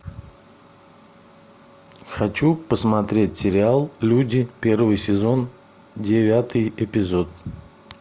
хочу посмотреть сериал люди первый сезон девятый эпизод